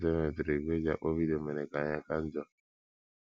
Mmepụta e mepụtara ígwè e ji akpọ vidio mere ka ihe ka njọ.